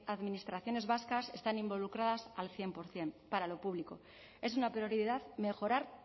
administraciones vascas están involucradas al cien por ciento para lo público es una prioridad mejorar